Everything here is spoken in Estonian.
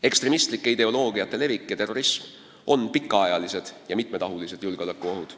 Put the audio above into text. Ekstremistlike ideoloogiate levik ja terrorism on pikaajalised ja mitmetahulised julgeolekuohud.